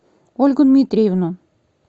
ольгу дмитриевну